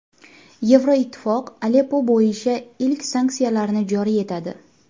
Yevroittifoq Aleppo bo‘yicha ilk sanksiyalarni joriy etadi.